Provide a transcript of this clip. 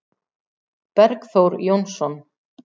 Bergþór Jónsson